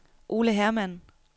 Ole Hermann